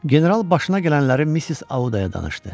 General başına gələnləri Miss Audaya danışdı.